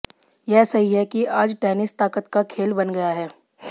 यह सही है कि आज टेनिस ताकत का खेल बन गया है